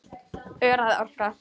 Óræð orka.